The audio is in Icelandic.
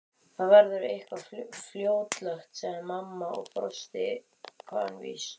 Það verður eitthvað fljótlegt sagði mamma og brosti kankvís.